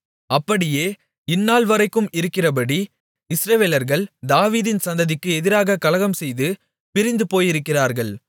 அப்படியே இந்தநாள்வரைக்கும் இருக்கிறபடி இஸ்ரவேலர்கள் தாவீதின் சந்ததிக்கு எதிராக கலகம்செய்து பிரிந்து போயிருக்கிறார்கள்